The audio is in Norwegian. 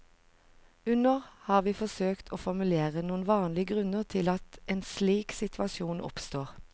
Under har vi forsøkt å formulere noen vanlige grunner til at en slik situasjon oppstår.